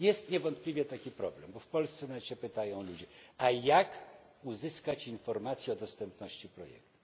Jest niewątpliwie taki problem, bo w Polsce nawet się pytają ludzie a jak uzyskać informacje o dostępności projektu?